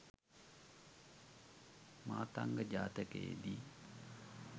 මාතංග ජාතකයේ දී